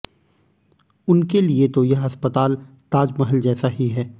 उनके लिए तो यह अस्पताल ताजमहल जैसा ही है